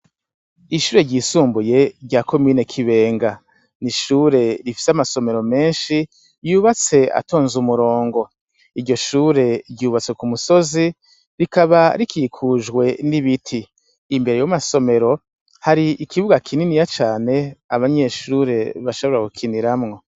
Ishure ry'isumbuye rya komine kibenga. N'ishure rifise amasomero menshi yubatse atonze umurongo. Iryo shure ry'ubatse kumusozi rikaba rikikujwe n'ibiti. Imbere y'amasomero hari ikibuga kininiya cane abanyeshure bashobora gukiniramwo.